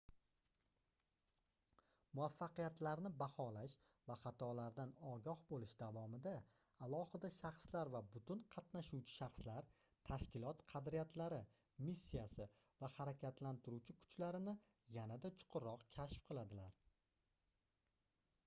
muvaffaqiyatlarni baholash va xatolardan ogoh boʻlish davomida alohida shaxslar va butun qatnashuvchi shaxslar tashkilot qadriyatlari missiyasi va harakatlantiruvchi kuchlarini yanada chuqurroq kashf qiladilar